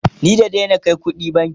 ni na Daina Kai ƙuɗina banki